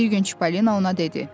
Bir gün Çipalina ona dedi.